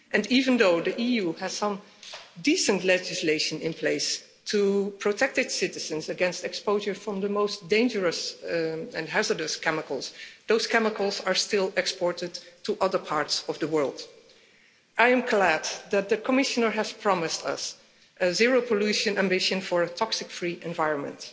Even though the EU has some decent legislation in place to protect its citizens against exposure to the most dangerous and hazardous chemicals, those chemicals are still exported to other parts of the world. I am glad that the Commissioner has promised us a zero-pollution ambition for a toxic-free environment.